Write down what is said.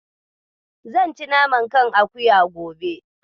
Zan ci naman kan akuya gobe.